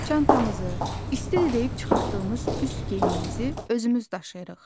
Çantamızı, isti deyib çıxartdığımız üst geyimimizi özümüz daşıyırıq.